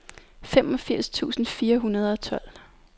femogfirs tusind fire hundrede og tolv